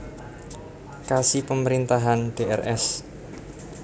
Kasi Pemerintahan Drs